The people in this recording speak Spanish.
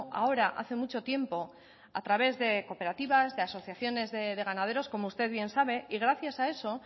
ahora hace mucho tiempo a través de cooperativas de asociaciones de ganaderos como usted bien sabe y gracias a eso